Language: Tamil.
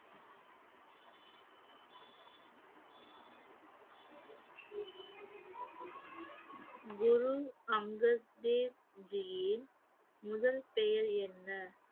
குரு அங்கத் தேவ்ஜியின் முதல் பெயர் என்ன?